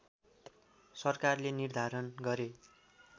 सरकारले निर्धारण गरे